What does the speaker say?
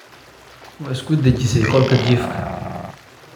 Ma isku dejisay qolka jiifka?